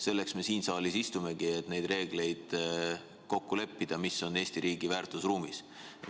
Selleks me siin saalis istumegi, et neid reegleid kokku leppida, mis on Eesti riigi väärtusruumis.